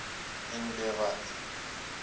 en b wat